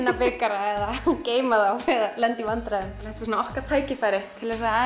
bikurum eða geyma þá eða lenda í vandræðum þetta er svona okkar tækifæri til að